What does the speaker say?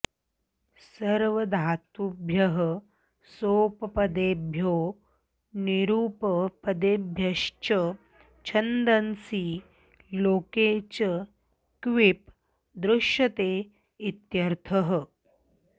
सर्वधातुभ्यः सोपपदेभ्यो निरुपपदेभ्यश्च छन्दसि लोके च क्विप् दृश्यते इत्यर्थः